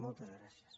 moltes gràcies